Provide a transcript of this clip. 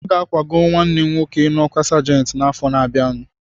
Aga akwago nwanne m nwoke n'ọkwa sajenti n'afọ na-abịanụ